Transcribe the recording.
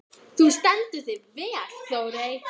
Þú stendur þig vel, Þórey!